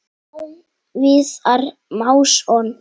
Már Viðar Másson.